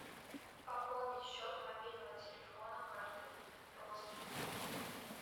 пополнить счет мобильного телефона картой родственнику